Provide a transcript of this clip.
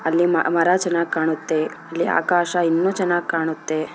ಅಲ್ಲಿ ಮ ಮರ ಚೆನ್ನಾಗ್ ಕಾಣುತ್ತೆ ಇಲ್ಲಿ ಆಕಾಶ ಇನ್ನೂ ಚೆನ್ನಾಗ್ ಕಾಣುತ್ತೆ.